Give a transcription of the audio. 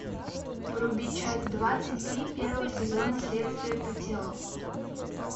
вруби часть двадцать три первого сезона следствие по телу